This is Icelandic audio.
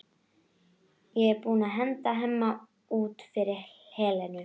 Er hún búin að henda Hemma út fyrir Helenu?